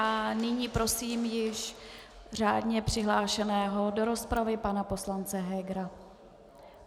A nyní prosím již řádně přihlášeného do rozpravy pana poslance Hegera.